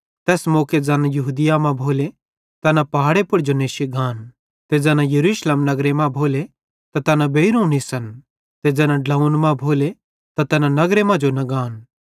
तैस मौके ज़ैन यहूदिया मां भोले तैना पहाड़े पुड़ जो नेश्शी गान ते ज़ैना यरूशलेम नगरे मां भोले त तैन बेइरोवं निसन ते ज़ैना ड्लोंव्वन मां भोले त तैना नगर मां जो न गान